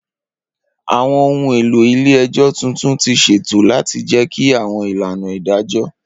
Awọn ohun elo ile-ẹjọ tuntun ti ṣeto lati jẹki awọn ilana idajọ.